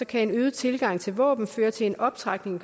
kan en øget tilgang til våben føre til en optrapning